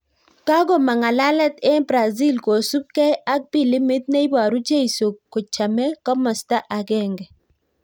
Kakomang ng'alalet eng Brazil kosuup gei ak pilimit neiparuu jeisoo kochamee komastaa agenge